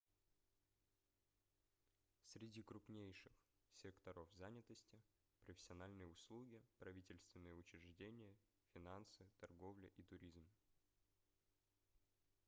среди крупнейших секторов занятости профессиональные услуги правительственные учреждения финансы торговля и туризм